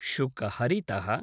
शुकहरितः